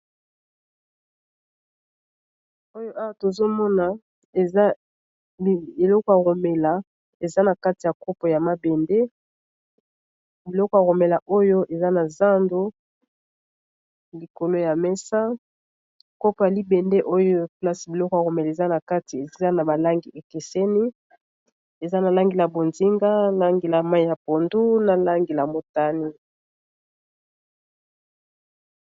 Oyo awa tozomona eza biloko ya komela eza na kati ya kopo ya mabende biloko ya komela oyo eza na zando likolo ya mesa kopo ya libende oyo place biloko ya komela eza na kati eza na ba langi ekeseni eza na langi ya bonzinga, langi ya mayi ya pondu na langi ya motane.